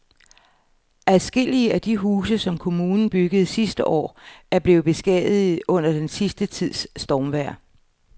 Adskillige af de huse, som kommunen byggede sidste år, er blevet beskadiget under den sidste tids stormvejr.